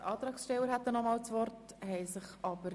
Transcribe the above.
Wir kommen zur Abstimmung und stimmen zuerst über Ziffer 1 ab.